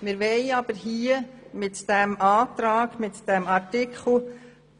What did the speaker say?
Wir wollen aber mit diesem Antrag die